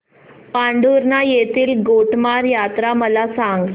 पांढुर्णा येथील गोटमार यात्रा मला सांग